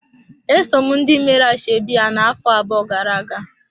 Esom ndị meere ya ashebi ya na-afọ abụọ gara-aga.